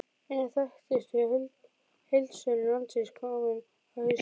Einn af þekktustu heildsölum landsins kominn á hausinn!